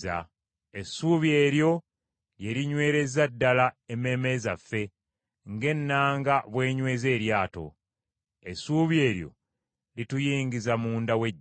Essuubi eryo lye linywereza ddala emmeeme zaffe ng’ennanga bw’enyweza eryato. Essuubi eryo lituyingiza munda w’eggigi.